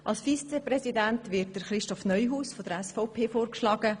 Als Regierungsvizepräsident wird Christoph Neuhaus von der SVP vorgeschlagen.